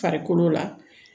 Farikolo la